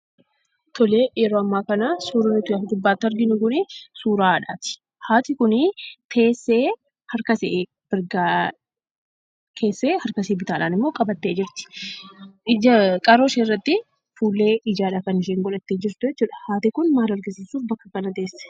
Tole, yeroo ammaa kanaa, suurri nuyi as gubbatti arginu kun, suuraa haadhaati. haati kuni teessee, harkashee mirgaa keessee, harkashee bitaadhaanimmo qabattee jirti. qaroo ishee irratti fuullee ijaadha kan isheen godhattee jirtu jechuudha. haati kun maal argisiisuuf bakka kana teesse?